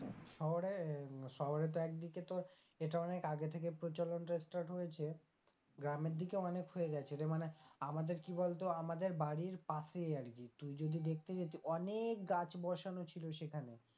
শহরে শহরে তো একদিকে তোর এটা অনেক আগে থেকে প্রচলনটা start হয়েছে গ্রামের দিকে অনেক হয়ে গেছে যে মানে আমাদের কি বলতো আমাদের বাড়ির পাশেই আর কি তুই যদি দেখতে যেতিস অনেক গাছ বসানো ছিল সেখানে,